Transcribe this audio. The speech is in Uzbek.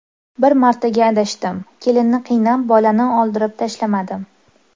Bir martaga adashdim, kelinni qiynab bolani oldirib tashlamadim.